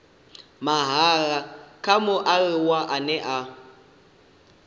mahala kha mualuwa ane a